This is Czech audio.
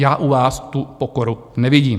Já u vás tu pokoru nevidím.